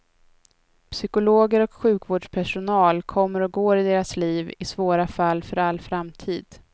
Psykologer och sjukvårdspersonal kommer och går i deras liv, i svåra fall för all framtid.